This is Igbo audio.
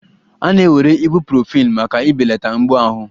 A na-ewere Ibuprofen maka ibelata mgbu ahụ